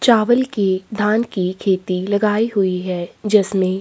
चावल की धान की खेती लगाई हुई है जिसमें--